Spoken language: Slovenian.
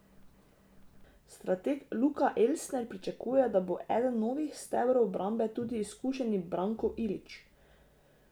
Strateg Luka Elsner pričakuje, da bo eden novih stebrov obrambe tudi izkušeni Branko Ilić.